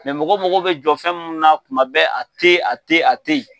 mɔgɔ mago bɛ jɔ fɛn mun na kuma bɛɛ a teyi a teyi a teyi.